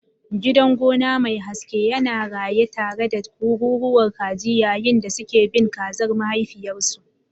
Gidan gona mai haske yana raye tare da kururuwar kaji yayin da suke bin kazar mahaifiyarsu.